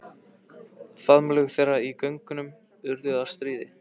Faðmlög þeirra í göngunum urðu að stríði.